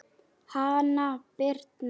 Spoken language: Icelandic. Hanna Birna.